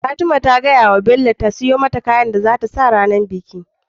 Fatima ta fadawa bello ya siyo mata kayan da zata sa ranar biki